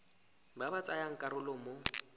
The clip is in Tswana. ba ba tsayang karolo mo